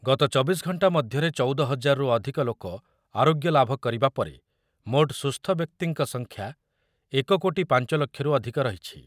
ଗତ ଚବିଶ ଘଣ୍ଟା ମଧ୍ୟରେ ଚଉଦ ହଜାରରୁ ଅଧିକ ଲୋକ ଆରୋଗ୍ୟଲାଭ କରିବା ପରେ ମୋଟ ସୁସ୍ଥ ବ୍ୟକ୍ତିଙ୍କ ସଂଖ୍ୟା ଏକ କୋଟି ପାଞ୍ଚ ଲକ୍ଷରୁ ଅଧିକ ରହିଛି।